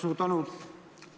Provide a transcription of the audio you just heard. Suur tänu!